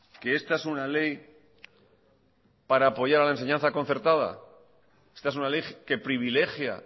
que esta es una ley para apoyar la enseñanza concertada esta es una ley que privilegia